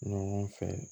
Ɲɔgɔn fɛ